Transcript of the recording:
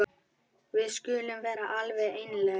Við skulum vera alveg einlæg.